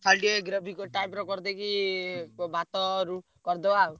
ଖାଲି ଟିକେ gravy କର~ type ର କରିଦେଇକି ଭାତ ରୁ~ କରିଦବା ଆଉ।